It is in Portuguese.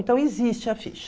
Então existe a ficha.